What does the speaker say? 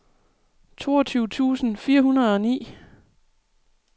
toogtyve tusind fire hundrede og ni